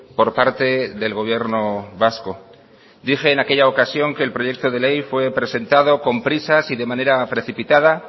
por parte del gobierno vasco dije en aquella ocasión que el proyecto de ley fue presentado con prisas y de manera precipitada